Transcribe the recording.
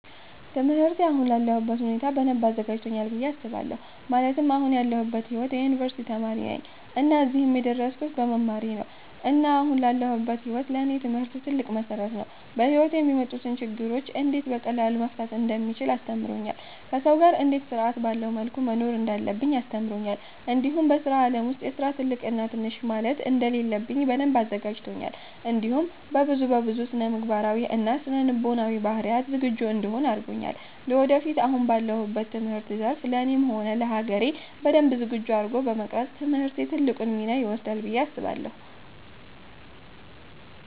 ትምህርቴ አሁን ላለሁበት ሁኔታ በደንብ አዘጋጂቶኛል ብየ አስባለሁ ማለትም አሁን ያለሁበት ሂዎት የ ዩኒቨርሲቲ ተማሪ ነኝ እና እዚህም የደረስኩት በመማሬ ነው እና አሁን ላለሁበት ሂዎት ለኔ ትምህርት ትልቅ መሰረት ነው። በሂዎቴ የሚመጡትን ችግሮች እንዴት በቀላሉ መፍታት እንደምቺል አስተምሮኛል፣ ከሰው ጋር እንዴት ስርአት ባለው መልኩ መኖር እንዳለብኝ አስተምሮኛል እንዲሁም በስራ አለም ውስጥ የስራ ትልቅ እና ትንሽ ማለት እንደሌለብኝ በደንብ አዘጋጂቶኛል እንዲሁም በብዙ በብዙ ስነምግባራዊ እና ስነ ልቦናዊ ባህሪያት ዝግጁ እንድሆን አርጎኛል ለወደፊትም አሁን ባለሁበት የትምህርት ዘርፍ ለኔም ሆነ ለሀገሬ በደንብ ዝግጁ አርጎ በመቅረፅ ትምህርቴ ትልቁን ሚና ይወስዳል ብየ አስባለሁ